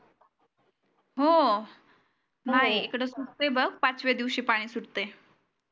हो इकड सुटे बघ पाचव्या दिवशी सुटतय